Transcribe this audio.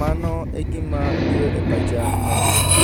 mano e gima biro e pacha maduong'.